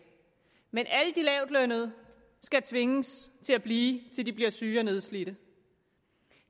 men alle de lavtlønnede skal tvinges til at blive til de bliver syge og nedslidte